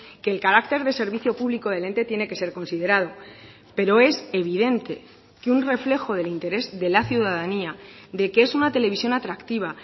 que el carácter de servicio público del ente tiene que ser considerado pero es evidente que un reflejo del interés de la ciudadanía de que es una televisión atractiva